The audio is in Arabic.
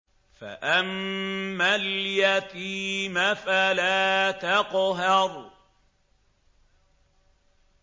فَأَمَّا الْيَتِيمَ فَلَا تَقْهَرْ